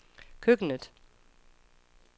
køkkenet